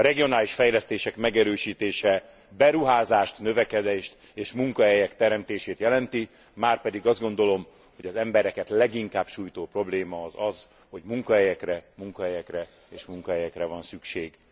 A regionális fejlesztések megerősítése beruházást, növekedést és munkahelyek teremtését jelenti, márpedig azt gondolom, hogy az embereket leginkább sújtó probléma az az, hogy munkahelyekre, munkahelyekre és munkahelyekre van szükség.